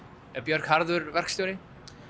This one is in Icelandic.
er Björk harður verkstjóri